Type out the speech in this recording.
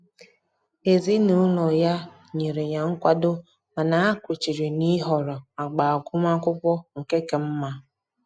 Ezinụlọ ya nyere ya nkwado mana ha kwechiri na-ịhọrọ agba agụmakwụkwọ nke ka mma